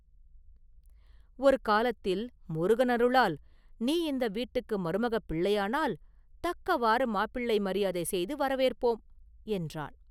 ஒரு காலத்தில், முருகன் அருளால், நீ இந்த வீட்டுக்கு மருமகப் பிள்ளையானால் தக்கவாறு மாப்பிள்ளை மரியாதை செய்து வரவேற்போம்!” என்றான்.